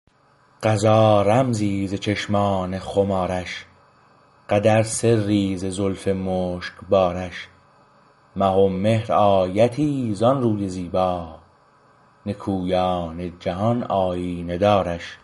قضا رمزی ز چشمان خمار ش قدر سری ز زلف مشگ بار ش مه و مهر آیتی ز آن روی زیبا نکویان جهان آیینه دارش